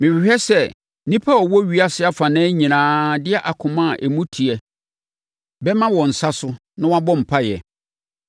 Mehwehwɛ sɛ nnipa a wɔwɔ ewiase afanan nyinaa de akoma a emu teɛ bɛma wɔn nsa so, na wɔabɔ mpaeɛ.